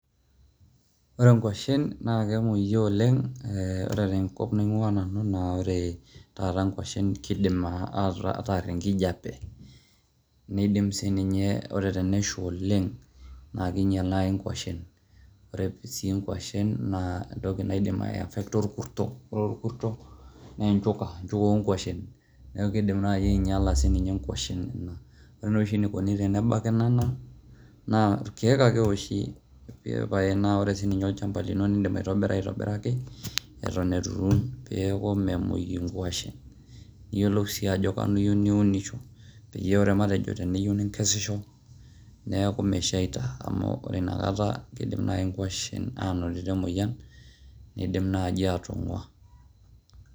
Ore nkwashen naake emueyu oleng', ee ore tenkop naing'ua nanu naa ore taata nkwashen kiidim ataarr enkijape, niidim sii ninye ore tenesha oleng' naake inyal nai nkwashen. Ore sii nkwashen naa entoki naidim aiafekta orkuto. Ore orkuto naa enchuka enchuka o nkwashen neeku kidim nai anyala siininye nkwashen inonok. Ore naa oshi enikuni tenebaki nena naa irkeek ake eoshi ee pae naa. Ore siininye olchamba lino inim aitobira aitobiraki eton itu iturr peeku memuoi nkashen. Iyolou sii ajo kanu iyeu niwunisho peyie matejo teniyeu nikesisho neeku meshaita amu ore ina kata kiidim nai nkwashen anotito emoyian niidim naaji aatong'ua.